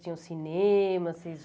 Tinha o cinema? Vocês